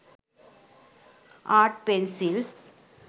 art pencil